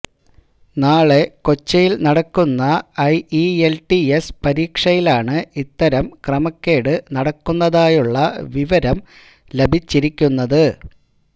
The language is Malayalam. നാളെ കൊച്ചിയിൽ നടക്കുന്ന ഐഇഎൽടിഎസ് പരീക്ഷയിലാണ് ഇത്തരം ക്രമക്കേട് നടക്കുന്നതായുള്ള വിവരം ലഭിച്ചിരിക്കുന്നത്